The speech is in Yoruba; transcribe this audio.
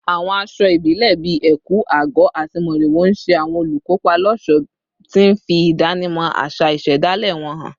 Àwọn aṣọ ìbílẹ̀ bíi ẹ̀kú/àgọ̀ àti mòrìwò ń ṣe àwọn olùkópa lọ́ṣọ̀ọ́, tí ń fi ìdánimọ̀ àṣà ìṣẹ̀dálẹ̀ wọn hàn.